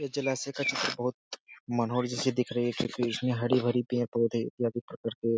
ये जलासय का चित्र बहुत मनोहर जैसे दिख रही है क्योंकि इसमें हरी-भरी पेड़-पौधे इत्यादि प्रकार के --